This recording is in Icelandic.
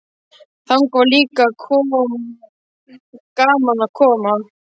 Þangað var líka gaman að koma.